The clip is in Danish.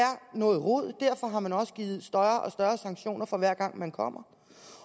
noget rod derfor har man også givet større og større sanktioner for hver gang man kommer